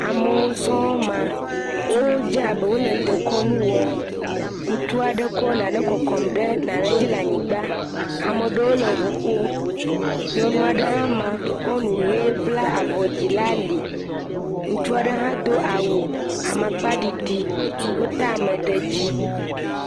Amewo sɔŋ ma. Wodze abe wole dekɔnu wɔm. Ŋutsu aɖe kɔ naɖe kɔkɔm ɖe naɖe dzi le anyigba. Ame ɖewo le ʋu ƒom. Nyɔnu aɖe hã ma kɔ nu ɣe bla avɔ dzi la li. Ŋutsu aɖe hã do awu amakpaɖiɖi. Wota ame ɖe edzi.